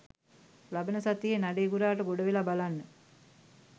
ලබන සතියේ නඩේ ගුරාට ගොඩවෙලා බලන්න.